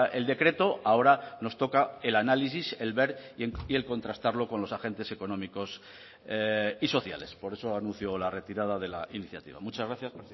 el decreto ahora nos toca el análisis el ver y el contrastarlo con los agentes económicos y sociales por eso anuncio la retirada de la iniciativa muchas gracias